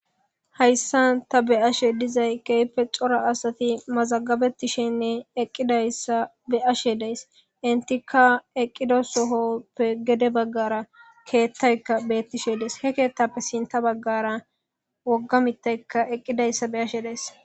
hayssan ta beyashe dizay keype cora asati mazagabetishenne eqqidayssa be7ashe deys intika eqqida sohoppe gede baggara keettaykka beettishe dees he keettappe sinta baggara wogga mittaykka eqqidayssa beyashe deyss